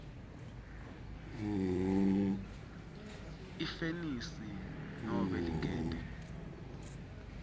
ifenisi nobe ligede